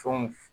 Fɛnw